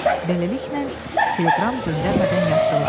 Beləliklə, teleqram göndərmədən yatdılar.